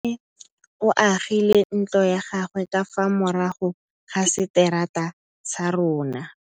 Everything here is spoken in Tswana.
Nkgonne o agile ntlo ya gagwe ka fa morago ga seterata sa rona.